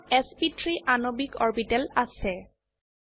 মিথেনত এছপি3 আণবিক অৰবিটেল আছে